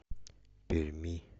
перми